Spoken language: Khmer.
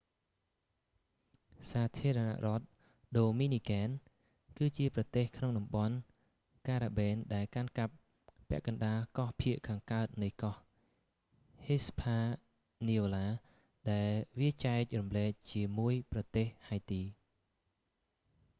សាធារណរដ្ឋដូមីនីកែន ភាសាអេស្បាញ៖ república dominicana គឺជាប្រទេសក្នុងតំបន់ការ៉ាបៀន ដែលកាន់កាប់ពាក់កណ្តាលកោះភាគខាងកើតនៃកោះ hispaniola ដែលវាចែករំលែកជាមួយប្រទេសហៃទី។